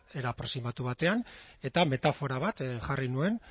era aproximatu batean eta metafora bat jarri nuen